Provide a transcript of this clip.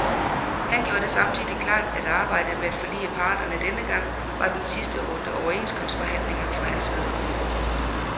Han gjorde det samtidig klart, at arbejdet med at forlige parterne denne gang var den sidste runde overenskomstforhandlinger for hans vedkommende.